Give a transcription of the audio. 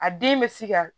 A den bɛ se ka